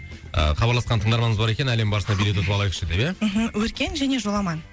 ы хабарласқан тыңдарманымыз бар екен әлем барысына билет ұтып алайықшы деп ия мхм өркен және жоламан